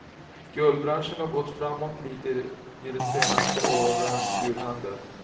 Guldbranschen har gått framåt lite i de senaste årens julhandel.